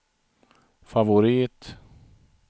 favorit